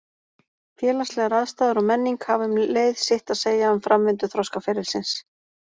Félagslegar aðstæður og menning hafa um leið sitt að segja um framvindu þroskaferilsins.